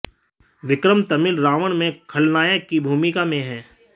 विक्रम तमिल रावण में खलनायक की भूमिका में हैं